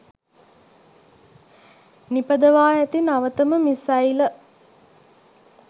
නිපදවා ඇති නවතම මිසයිල